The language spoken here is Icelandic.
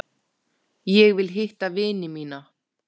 Ég vil hitta vini mína.